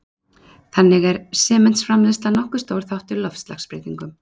Þannig er sementsframleiðsla nokkuð stór þáttur í loftslagsbreytingum.